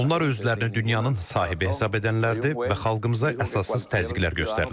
Onlar özlərini dünyanın sahibi hesab edənlərdir və xalqımıza əsassız təzyiqlər göstərirlər.